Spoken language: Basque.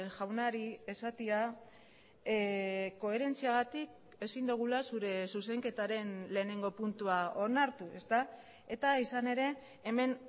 jaunari esatea koherentziagatik ezin dugula zure zuzenketaren lehenengo puntua onartu eta izan ere hemen